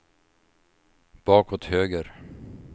bakåt höger